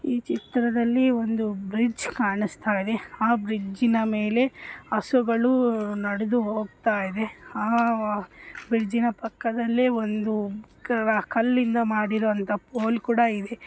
ಈ ಚಿತ್ರದಲ್ಲಿ ಒಂದು ಬ್ರಿಡ್ಜ್ ಕಾಣಿಸ್ತಾ ಇದೆ ಆ ಬ್ರಿಜ್ಜಿನ ಮೇಲೆ ಹಸುಗಳು ನಡೆದು ಹೋಗುತ್ತಾ ಇದೆ ಆಹ್ ಬ್ರಿಡ್ಜ್ ಪಕ್ಕದಲ್ಲಿ ಒಂದು ಕಲ್ಲಿನಿಂದ ಮಾಡಿರುವಂತಹ ಕೋಲ್ ಕೂಡ ಇದೆ.